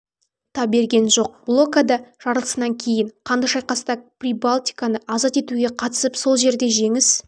та берген жоқ блокада жарылысынан кейін қанды шайқаста прибалтиканы азат етуге қатысып сол жерде женіс